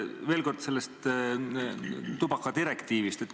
Veel kord sellest tubakadirektiivist.